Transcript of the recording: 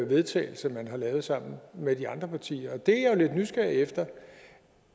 vedtagelse man har lavet sammen med de andre partier og det er jeg jo lidt nysgerrig efter